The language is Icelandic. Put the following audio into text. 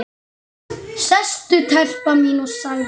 Sestu telpa mín, sagði hann.